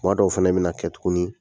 Kuma dɔw fɛnɛ bina kɛ tuguni